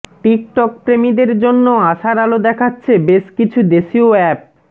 TikTok প্রেমীদের জন্য আশার আলো দেখাচ্ছে বেশ কিছু দেশিয় অ্যাপ